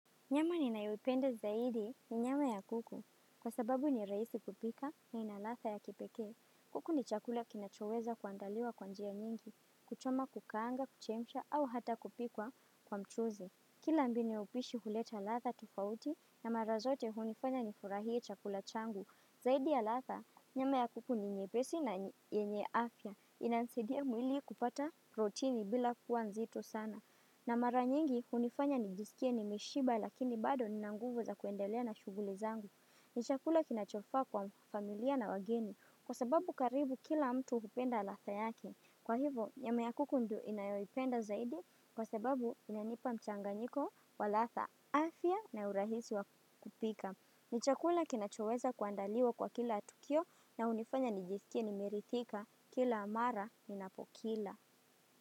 Nyama ninayoipenda zaidi ni nyama ya kuku. Kwa sababu ni rahisi kupika na ina ladha ya kipekee. Kuku ni chakula kinachoweza kuandaliwa kwa njia nyingi, kuchoma, kukaanga, kuchemsha au hata kupikwa kwa mchuzi. Kila mbinu ya upishi huleta ladha tofauti, na mara zote hunifanya nifurahie chakula changu. Zaidi ya ladha, nyama ya kuku ni nyepesi na yenye afya. Inanisaidia mwili kupata protini bila kuwa nzito sana. Na mara nyingi hunifanya nijisikie nimeshiba, lakini bado nina nguvu za kuendelea na shughuli zangu. Ni chakula kinachofaa kwa familia na wageni kwa sababu karibu kila mtu hupenda ladha yake. Kwa hivyo, nyama ya kuku ndiyo ninayoipenda zaidi kwa sababu inanipa mchanganyiko wa ladha, afya, na urahisi wa kupika. Ni chakula kinachoweza kuandaliwa kwa kila tukio na hunifanya nijisikie nimeridhika kila mara ninapokila.